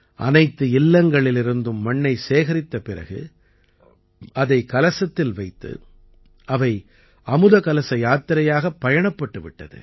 அனைத்து இல்லங்களிலிருந்தும் மண்ணை சேகரித்த பிறகு அதைக் கலசத்தில் வைத்து அவை அமுத கலச யாத்திரையாகப் பயணப்பட்டு விட்டது